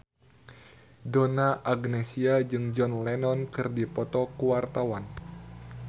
Donna Agnesia jeung John Lennon keur dipoto ku wartawan